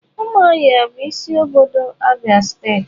Umuahia bu isi obodo Abia state.